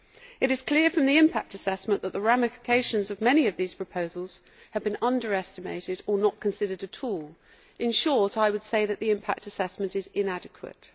It is clear from the impact assessment that the ramifications of many of these proposals have been underestimated or not considered at all. In short, I would say that the impact assessment is inadequate.